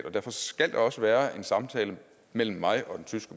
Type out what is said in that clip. og derfor skal der også være en samtale mellem mig